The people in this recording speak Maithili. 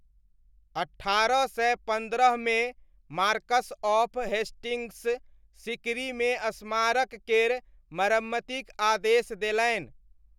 अट्ठारह सय पन्द्रहमे मार्कस ऑफ हेस्टिङ्ग्स सीकरीमे स्मारक केर मरम्मतिक आदेश देलनि।